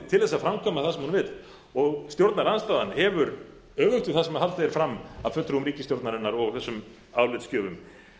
til þess að framkvæma það sem hún vill og stjórnarandstaðan hefur öfugt við það sem haldið er fram af fulltrúum ríkisstjórnarinnar og þessum álitsgjöfum